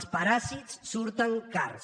els paràsits surten cars